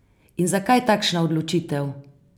In zakaj takšna odločitev?